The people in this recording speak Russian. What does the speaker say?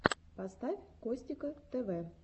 поставь костика тв